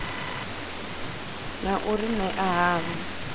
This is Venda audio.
na u ri ṅea havho